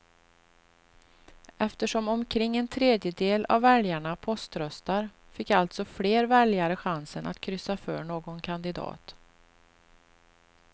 Eftersom omkring en tredjedel av väljarna poströstar fick alltså fler väljare chansen att kryssa för någon kandidat.